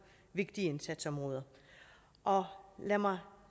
vigtige indsatsområder og lad mig